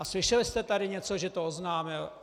A slyšeli jste tady něco, že to oznámil?